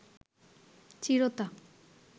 চিরতা